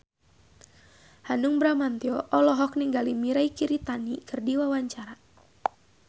Hanung Bramantyo olohok ningali Mirei Kiritani keur diwawancara